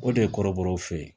O de ye kɔrɔbɔrɔw fɛ